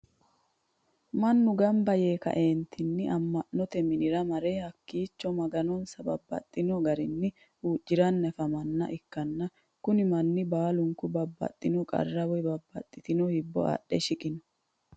mannu ganba yee ka'eentinni ama'notte minnira marre hakiicho maganonsa babaxino garinni hucciranni afamanoha ikanna kunni manni baalunku babaxino qarra woyi babaxitino hibbo adhe shiqanno.